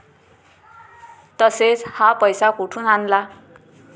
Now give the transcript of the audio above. तसेच, हा पैसा कुठून आणला?